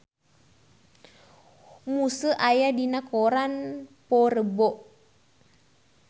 Muse aya dina koran poe Rebo